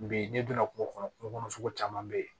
Bi ne donna kungo kɔnɔ kungo kɔnɔ sugu caman be ye